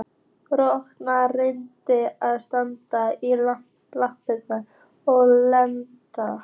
Rola reyndi að standa í lappirnar og elta